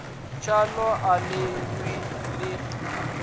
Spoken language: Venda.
tshaḽo a ḽi ṱwi ḽi